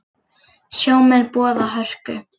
Sjómenn boða hörku